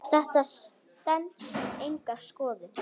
Þetta stenst enga skoðun.